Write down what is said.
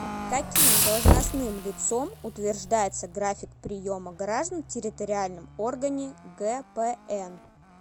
каким должностным лицом утверждается график приема граждан в территориальном органе гпн